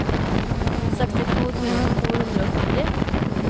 sekstito tusen to hundre og førti